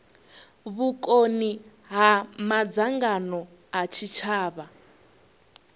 vhukoni ha madzangano a tshitshavha